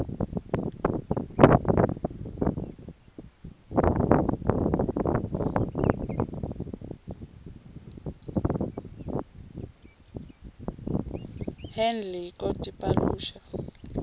handle ko tipaluxa